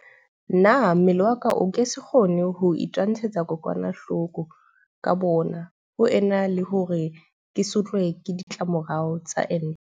Na mmele wa ka o ke se kgone ho itwantshetsa kokwanahloko ka boona ho ena le hore ke sotlwe ke di tlamorao tsa ente?